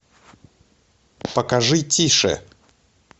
покажи тише